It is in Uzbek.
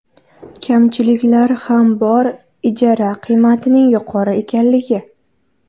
Kamchiliklar ham bor ijara qiymatining yuqori ekanligi.